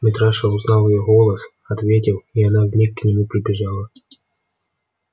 митраша узнал её голос ответил и она вмиг к нему прибежала